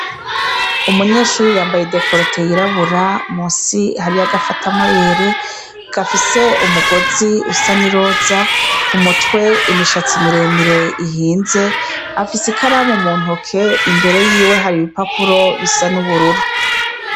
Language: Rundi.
Umunyeshure yambaye décolté yirabura musi hari agafata mabere gafise umugozi usa ni roza kumutwe imishatsi miremire ihinze afise ikaramu muntoke imbere yiwe hari ibipapuro bisa nubururu